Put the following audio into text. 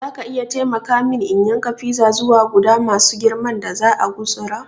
Zaka iya taimaka mini in yanka fiza zuwa guda masu girman da za'a gutsura?